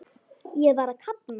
Ég var að kafna.